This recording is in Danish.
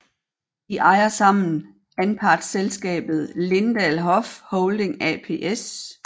De ejer sammen anpartsselskabet Lindahl Hoff Holding ApS